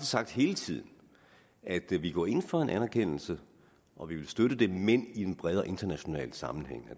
sagt hele tiden at vi går ind for en anerkendelse og at vi vil støtte den men i en bredere international sammenhæng